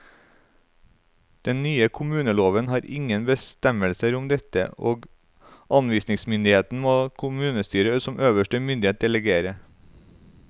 Den nye kommuneloven har ingen bestemmelser om dette, og anvisningsmyndigheten må kommunestyret som øverste myndighet delegere.